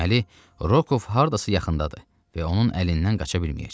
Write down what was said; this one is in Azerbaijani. Deməli, Rokov hardasa yaxındadır və onun əlindən qaça bilməyəcək.